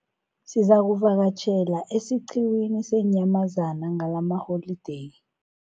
Sizakuvakatjhela esiqhiwini seenyamazana ngalamaholideyi.